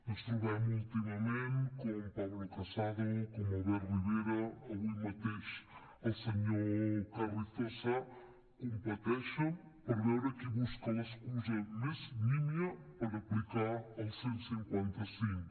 ens trobem últimament com pablo casado com albert rivera avui mateix el senyor carrizosa competeixen per veure qui busca l’excusa més nímia per aplicar el cent i cinquanta cinc